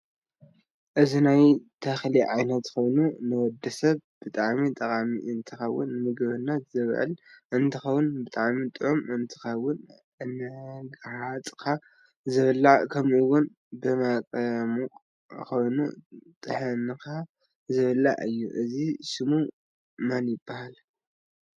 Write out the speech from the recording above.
እዚ ናይ ተክሊዓይነት ኮይኑ ንወድሰብ ብጣዓሚ ጠቃሚ እንትከውን ንምግብነት ዝውዕል እንትከውን ብጣዓሚ ጡዑም እንትከወን እዳጋሃፅካ ዝብላዕ ከምኡ እውን ብመፅሞቅ ገይርካ ጥሕንካ ዝብላ እየ እዚ ሽሙ መን ይብሃል?